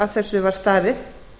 að þessu var staðið